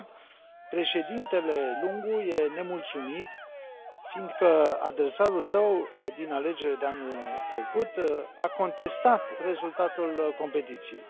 De fapt, președintele Lungu este nemulțumit fiindcă adversarul său din alegerile de anul trecut a contestat rezultatul competiției.